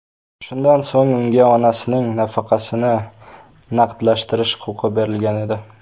Shundan so‘ng unga onasining nafaqasini naqdlashtirish huquqi berilgan edi.